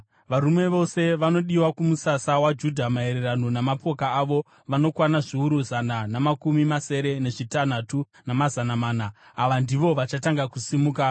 Varume vose vanodiwa kumusasa waJudha maererano namapoka avo, vanokwana zviuru zana namakumi masere nezvitanhatu, namazana mana. Ava ndivo vachatanga kusimuka.